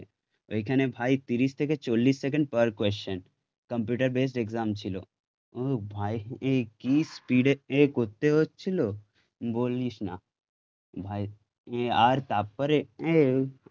তো ওইখানে ভাই তিরিশ থেকে চল্লিশ second per question, computer based exam ছিল, ও ভাই কি স্পীডে এ করতে হচ্ছিল? বলিস না, ভাই আর তারপরে